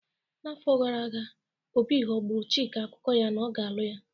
N'afọ gara aga, Obi ghọgburu chick akụkụ ya na ọ ga-alụ ya